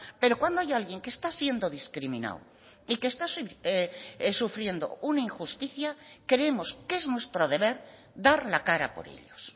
pero cuando hay alguien que está siendo discriminado y que está sufriendo una injusticia creemos que es nuestro deber dar la cara por ellos